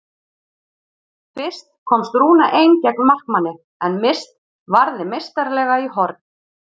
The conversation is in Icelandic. Fyrst komst Rúna ein gegn markmanni en Mist varði meistaralega í horn.